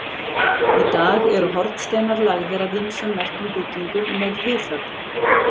Í dag eru hornsteinar lagðir að ýmsum merkum byggingum með viðhöfn.